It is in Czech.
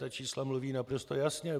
Ta čísla mluví naprosto jasně.